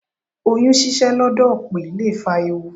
Oyún ṣíṣẹ́ lọ́dọ̀ òpè lè fa ewu.